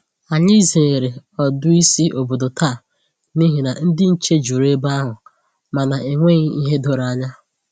Ànyị zere ọdù ísì ọ̀bòdò taa n’ihi na ndị nche jùrù ebe ahụ ma na enweghị ìhè doro ànyà